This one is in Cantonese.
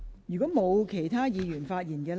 如果沒有，是否有官員想發言？